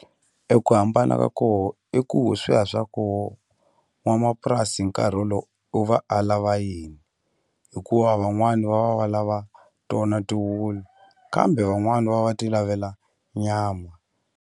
E ku hambana ka koho i ku swa koho n'wamapurasi hi nkarhi wolowo u va a lava yini hikuva van'wani va va va lava tona ti wulu kambe van'wani va va ti lavela nyama.